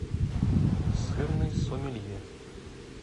сырный сомелье